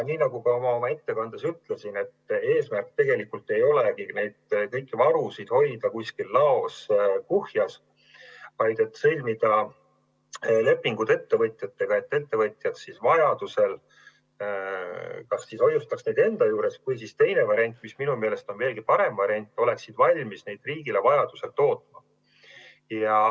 Nagu ma ka oma ettekandes ütlesin, eesmärk tegelikult ei ole kõiki neid varusid hoida kuskil laos kuhjas, vaid sõlmida lepingud ettevõtjatega, et ettevõtjad vajaduse korral hoiustaks neid enda juures või siis teine variant, mis minu meelest on veelgi parem variant, oleksid valmis neid riigile vajaduse korral tootma.